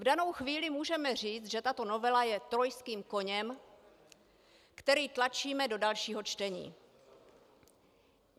V danou chvíli můžeme říct, že tato novela je trojským koněm, kterého tlačíme do dalšího čtení.